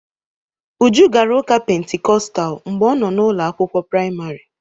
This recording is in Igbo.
Uju gara ụka Pentikọstal mgbe ọ nọ n'ụlọ akwụkwọ praịmarị.